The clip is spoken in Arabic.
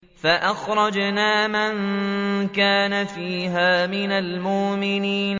فَأَخْرَجْنَا مَن كَانَ فِيهَا مِنَ الْمُؤْمِنِينَ